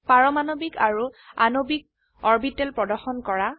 পাৰমাণবিক আৰু আণবিক অৰবিটেল প্ৰদৰ্শন কৰা